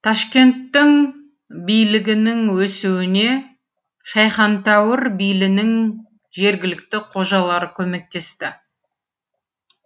ташкенттің билігінің өсуіне шайхантәуір билінің жергілікті қожалары көмектесті